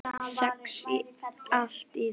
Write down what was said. Sex allt í lagi.